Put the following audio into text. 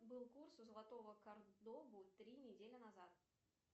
был курс у золотого картобу три недели назад